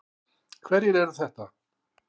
Hverjir eru þetta?